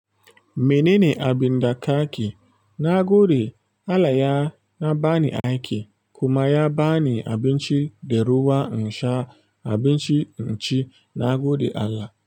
Menene abinda ka ki? Na gode Allah ya na ba ni aiki kuma ya ba ni abinci da ruwa in sha abinci in ci. Na gode Allah.